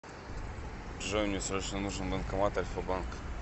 джой мне срочно нужен банкомат альфа банка